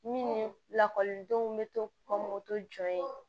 Minnu lakɔlidenw bɛ to ka moto jɔ yen